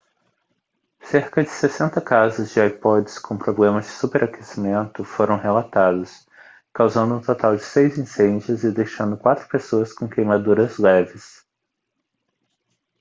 cerca de 60 casos de ipods com problemas de superaquecimento foram relatados causando um total de seis incêndios e deixando quatro pessoas com queimaduras leves